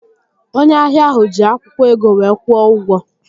Onye ahịa ahụ ji akwụkwọ ego wee kwụọ ụgwọ